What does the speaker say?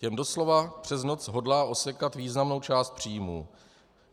Těm doslova přes noc hodlá osekat významnou část příjmů.